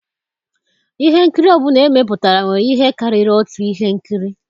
Ihe nkiri ọ bụla emepụtara nwere ihe karịrị otu ihe nkiri.